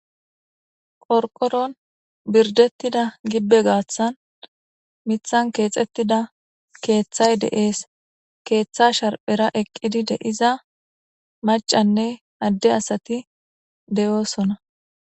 qorqoron birdettida gibbe gaaththan mithan keexettida keeththay de7ees keeththa sharphera eqqidi de iza macanne adde asati deyoosona